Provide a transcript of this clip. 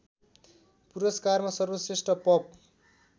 पुरस्कारमा सर्वश्रेष्ठ पप